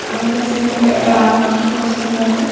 అంత సిమెంట్ గ పోస్తున్నారు.